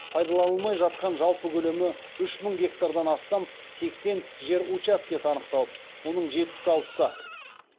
пайдаланылмай жатқан жалпы көлемі үш мың гектардан астам сексен жер учаскесі анықталып оның жетпіс алтысы